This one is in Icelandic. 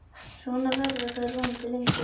Svona verða þær vonandi lengi.